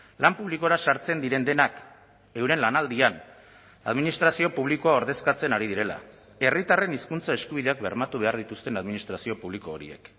lan publikora sartzen diren denak euren lanaldian administrazio publikoa ordezkatzen ari direla herritarren hizkuntza eskubideak bermatu behar dituzten administrazio publiko horiek